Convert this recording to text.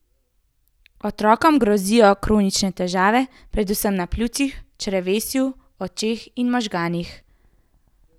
Otrokom grozijo kronične težave, predvsem na pljučih, črevesju, očeh in možganih.